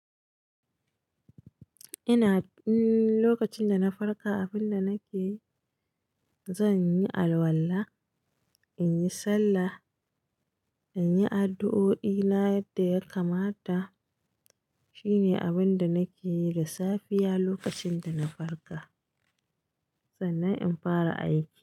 Ina, mm, lokacin da na farka, abin da nake yi, zan yi alwala, in yi sallah, in yi addu'o'i na yadda ya kamata. Shine abin da nake yi da safiya lokacin da na farka. Sannan in fara aiki.